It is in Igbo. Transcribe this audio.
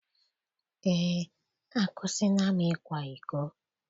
Eé. akwụsịla m ịkwa iko.